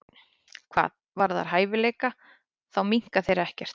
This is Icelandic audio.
Hvað varðar hæfileika þá minnka þeir ekkert.